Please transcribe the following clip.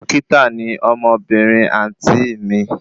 Dókítà ni ọmọbìnrin àǹtí ì mi